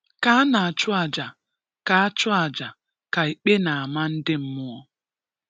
Ka ana achụ aja, ka achụ aja, ka ikpe n amah ndi mmụọ.